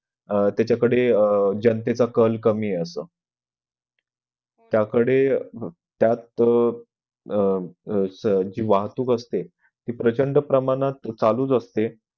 अह त्याच्याकडे जणतेचा कल कमी आहे असं त्याकडे त्या तो अह अह जी वाहतूक असते ती प्रचंड प्रमाणात चालू असत